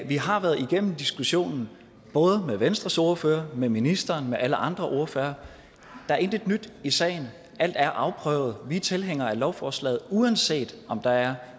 vi har været igennem diskussionen både med venstres ordfører med ministeren med alle andre ordførere der er intet nyt i sagen alt er afprøvet vi er tilhængere af lovforslaget uanset om der er